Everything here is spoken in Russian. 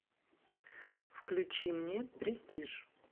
включи мне престиж